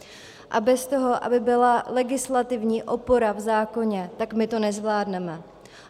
A bez toho, aby byla legislativní opora v zákoně, tak my to nezvládneme.